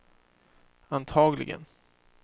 antagligen